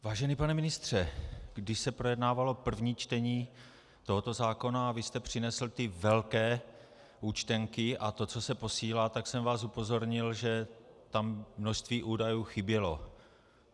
Vážený pane ministře, když se projednávalo první čtení tohoto zákona a vy jste přinesl ty velké účtenky a to, co se posílá, tak jsem vás upozornil, že tam množství údajů chybělo.